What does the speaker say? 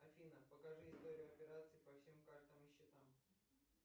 афина покажи историю операций по всем картам и счетам